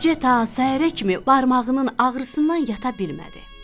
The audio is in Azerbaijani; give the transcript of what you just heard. Gecə ta səhərə kimi barmağının ağrısından yata bilmədi.